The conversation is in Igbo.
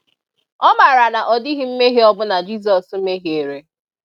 O mara na odighi nmehie o bula Jisos mehiere.